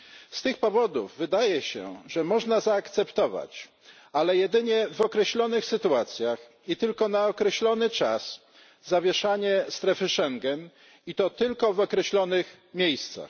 Z tych powodów wydaje się, że można zaakceptować, ale jedynie w określonych sytuacjach i tylko na określony czas, zawieszanie strefy Schengen i to tylko w określonych miejscach.